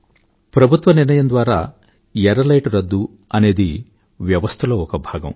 ప్రభుత్వ నిర్ణయం ద్వారా ఎర్ర లైటు రద్దు అనేది వ్యవస్థలో ఒక భాగం